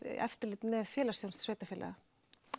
eftirlit með félagsþjónustu sveitarfélaga